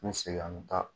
N bɛ segin an bɛ taa